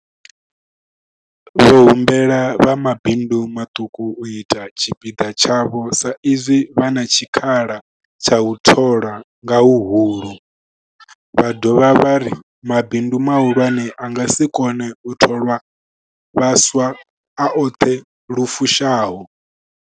Vho humbela vha mabindu maṱuku u ita tshipiḓa tshavho sa izwi vha na tshikhala tsha u thola nga huhulu, vha dovha vha ri mabindu mahulwane a nga si kone u thola vhaswa a oṱhe lu fushaho.